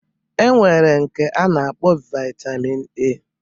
E nwere nke a na-akpọ Vaitamin A